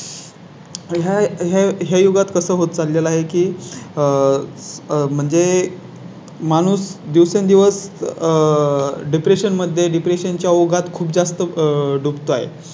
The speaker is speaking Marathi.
च्या ह्या युगात कसं होत चाललं आहे की आह म्हणजे? माणूस दिवसेंदिवस आह Depression मध्ये Depression च्या ओघात खूप जास्त दुखत आहे